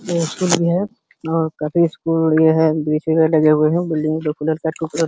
ये स्कूल भी है और काफी स्कूल ये है डगे हुए है। बिल्डिंग --